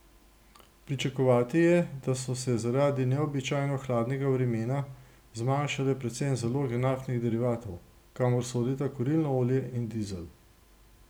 Pričakovati je, da so se zaradi neobičajno hladnega vremena zmanjšale predvsem zaloge naftnih derivatov, kamor sodita kurilno olje in dizel.